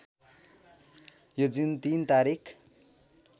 यो जुन ३ तारिक